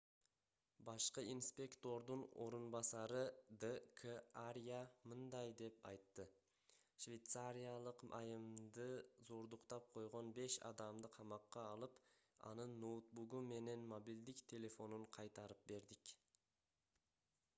башкы инспектордун орун басары д.к. арья мындай деп айтты швейцариялык айымды зордуктап койгон беш адамды камакка алып анын ноутбугу менен мобилдик телефонун кайтарып бердик